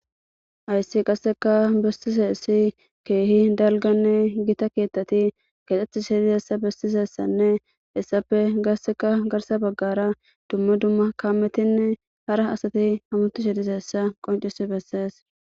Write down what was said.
Hayssi qasikka besizzaysi gitanne dalga keetha kexishe dizzayssa hessape garssa bagarra kametinne dumma dumma asay dizzayssa besees.